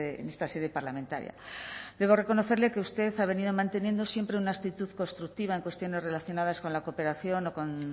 en esta sede parlamentaria debo reconocerle que usted ha venido manteniendo siempre una actitud constructiva en cuestiones relacionadas con la cooperación o con